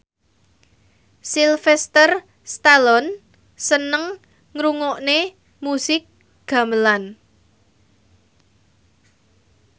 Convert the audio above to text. Sylvester Stallone seneng ngrungokne musik gamelan